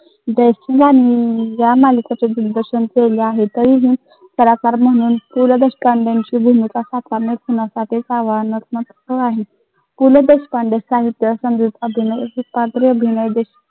या मालिकेचे दिग्दर्शन केले आहे. तरीही कलाकार म्हणून पु ल देशपांडेंची भूमिका साकारणे कोणासाठी आव्हानात्मक. पु ल देशपांडे साहित्य संगीत अभिनय